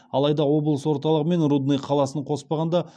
алайда облыс орталығы мен рудный қаласын қоспағанда